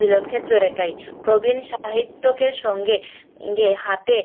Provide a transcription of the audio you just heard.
মিলন ক্ষেত্র এটাই প্রবীণ সাহিত্যকের সঙ্গে হাতে